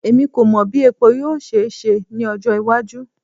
Emi ko mọ bi epo yoo ṣe ṣe ni ọjọ iwaju